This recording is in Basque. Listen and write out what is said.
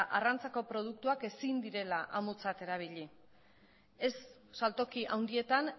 arrantzako produktuak ezin direla amutzat erabili ez saltoki handietan